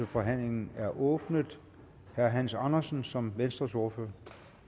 forhandlingen er åbnet herre hans andersen som venstres ordfører